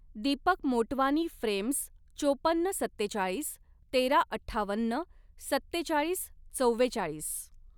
Deepak Motwani frames चोपन्न सत्तेचाळीस, तेराअठ्ठावन्न, सत्तेचाळीसचव्वेचाळीस.